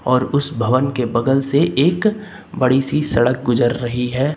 और उस भवन के बगल से एक बड़ी सी सड़क गुजर रही है।